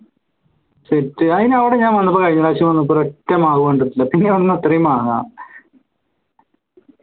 set അയിന് ഞാൻ അവിടെ വന്നപ്പോ കഴിഞ്ഞപ്രാശ്യം വന്നപ്പോ ഒരൊറ്റ മാങ്ങ കണ്ടിട്ടില്ല പിന്നെ എവിടുന്നത്രയും മാങ്ങ